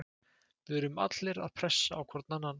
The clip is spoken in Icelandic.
Við erum allir að pressa á hvern annan.